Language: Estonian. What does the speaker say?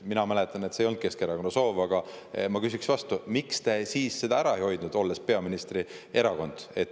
Mina mäletan, et see ei olnud Keskerakonna soov, ja ma küsiks vastu, et miks te siis seda ära ei hoidnud, olles peaministrierakond.